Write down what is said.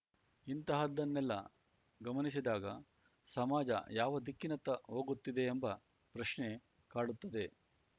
ಇಂತಹದ್ದನ್ನೆಲ್ಲಾ ಗಮನಿಸಿದಾಗ ಸಮಾಜ ಯಾವ ದಿಕ್ಕಿನತ್ತ ಹೋಗುತ್ತಿದೆಯೆಂಬ ಪ್ರಶ್ನೆ ಕಾಡುತ್ತದೆ